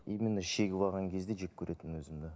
именно шегіп алған кезде жек көретінмін өзімді